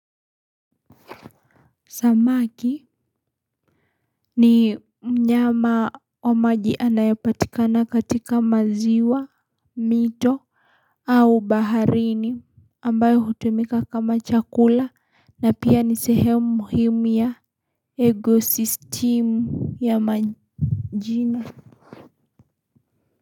Samaki ni mnyama wa maji anayapatikana katika maziwa, mito, au baharini ambayo hutumika kama chakula na pia ni sehemu muhimu ya egosistimu ya majina.